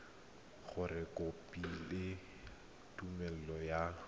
gore o kopile tumelelo ya